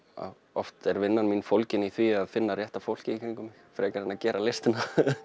oft er vinnan mín fólgin í því að finna rétta fólkið í kringum mig frekar en að gera listina